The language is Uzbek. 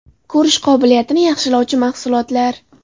Ko‘rish qobiliyatini yaxshilovchi mahsulotlar.